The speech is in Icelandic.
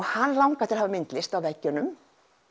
hann langaði að hafa myndlist á veggjunum